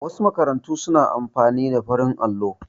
Wasu makarantu su na amfani da farin allo